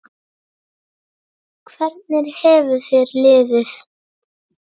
Hvernig hefur þér liðið?